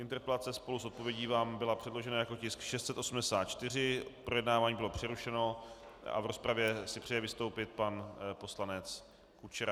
Interpelace spolu s odpovědí vám byla předložena jako tisk 684, projednávání bylo přerušeno a v rozpravě si přeje vystoupit pan poslanec Kučera.